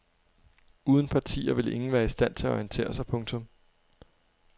Uden partier ville ingen være i stand til at orientere sig. punktum